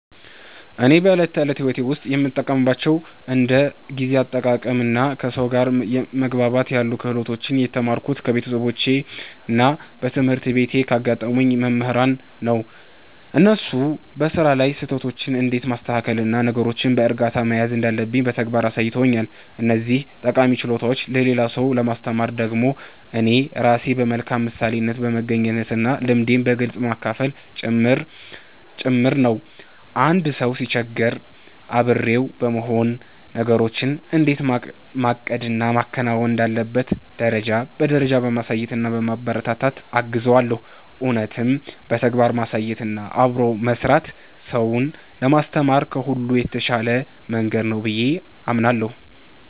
እኔ በዕለት ተዕለት ሕይወቴ ውስጥ የምጠቀምባቸውን እንደ ጊዜ አጠቃቀምና ከሰው ጋር መግባባት ያሉ ክህሎቶችን የተማርኩት ከቤተሰቦቼና በትምህርት ቤት ካጋጠሙኝ መምህራን ነው። እነሱ በሥራ ላይ ስህተቶችን እንዴት ማስተካከልና ነገሮችን በዕርጋታ መያዝ እንዳለብኝ በተግባር አሳይተውኛል። እነዚህን ጠቃሚ ችሎታዎች ለሌላ ሰው ለማስተማር ደግሞ እኔ ራሴ በመልካም ምሳሌነት በመገኘትና ልምዴን በግልጽ በማካፈል ጭምር ነው። አንድ ሰው ሲቸገር አብሬው በመሆን፣ ነገሮችን እንዴት ማቀድና ማከናወን እንዳለበት ደረጃ በደረጃ በማሳየትና በማበረታታት እገዘዋለሁ። እውነትም በተግባር ማሳየትና አብሮ መሥራት ሰውን ለማስተማር ከሁሉ የተሻለ መንገድ ነው ብዬ አምናለሁ።